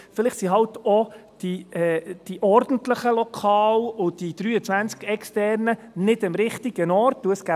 Vielleicht sind eben auch die ordentlichen Lokale und die 23 externen nicht am richtigen Ort.